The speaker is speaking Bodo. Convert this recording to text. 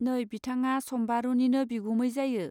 नै बिथाङा सम्बारूनिनो बिगुमै जायो.